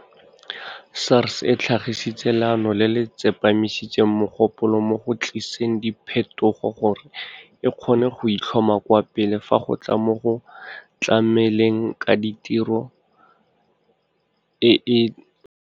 SARS e tlhagisitse leano le le tsepamisitseng mogopolo mo go tliseng diphetogo gore e kgone go itlhoma kwa pele fa go tla mo go tlameleng ka tiro e e manontlhotlho le e e tswileng diatla.